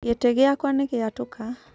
Gĩtĩ gĩakũa nĩgĩatũka.